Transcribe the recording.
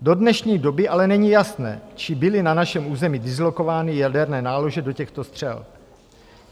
Do dnešní doby ale není jasné, či byly na našem území dislokovány jaderné nálože do těchto střel.